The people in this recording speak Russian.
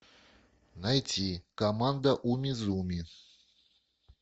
найти команда умизуми